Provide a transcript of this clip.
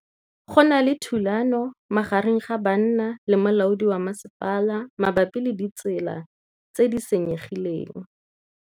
Go na le thulanô magareng ga banna le molaodi wa masepala mabapi le ditsela tse di senyegileng.